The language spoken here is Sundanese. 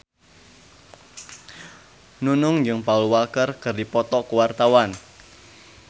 Nunung jeung Paul Walker keur dipoto ku wartawan